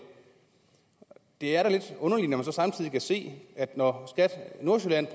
er da lidt underligt når man så samtidig kan se at når skat nordsjælland